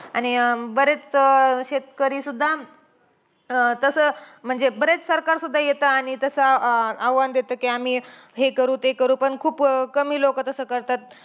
आणि अं बरेच शेतकरी सुद्धा अं तसं म्हणजे बरेच सरकार सुद्धा येतं. आणि तसं अं आवाहन देतं, कि आम्ही हे करू, ते करू पण खूप कमी लोकं तसं करतात.